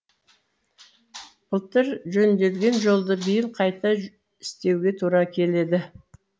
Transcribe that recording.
былтыр жөнделген жолды биыл қайта істеуге тура келеді